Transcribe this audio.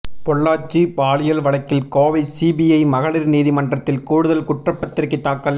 பொள்ளாச்சி பாலியல் வழக்கில் கோவை சிபிஐ மகளிர் நீதிமன்றத்தில் கூடுதல் குற்றப்பத்திரிகை தாக்கல்